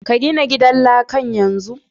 Ka gina gidan lakan yanzu!